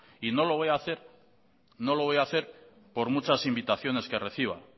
y no lo voy a hacer por muchas invitaciones que reciba